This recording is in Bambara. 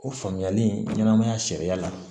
O faamuyali ɲɛnamaya sariya la